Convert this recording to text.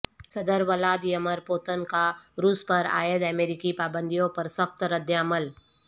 صدر Vladimir Putin کا روس پر عائد امریکی پابندیوں پر سخت رد عمل